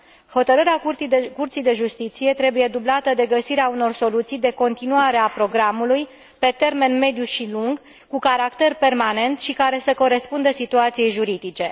Hotărârea Curții de Justiție trebuie dublată de găsirea unor soluții de continuare a programului pe termen mediu și lung, cu caracter permanent, și care să corespundă situației juridice.